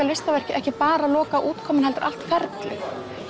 listaverkið ekki bara loka útgáfan heldur allt ferlið